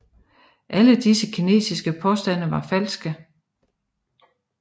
Alle disse kinesiske påstande var falske